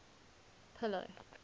pillow